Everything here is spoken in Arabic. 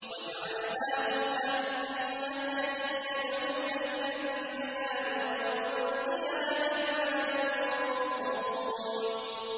وَجَعَلْنَاهُمْ أَئِمَّةً يَدْعُونَ إِلَى النَّارِ ۖ وَيَوْمَ الْقِيَامَةِ لَا يُنصَرُونَ